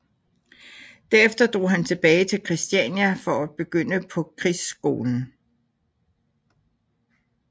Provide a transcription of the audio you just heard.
Derefter drog han tilbage til Christiania for at begynde på Krigsskolen